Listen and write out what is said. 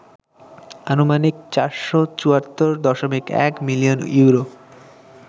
আনুমানিক ৪৭৪.১ million euro